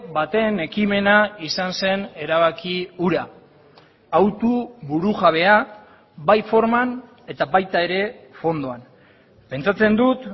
baten ekimena izan zen erabaki hura hautu burujabea bai forman eta baita ere fondoan pentsatzen dut